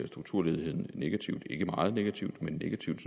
strukturledigheden negativt ikke meget negativt men negativt